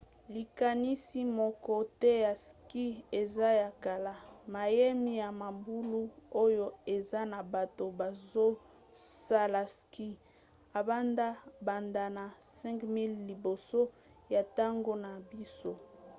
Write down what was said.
likanisi moko te ya ski eza ya kala — mayemi ya mabulu oyo eza na bato bazosala ski ebanda banda na 5000 liboso ya ntango na biso!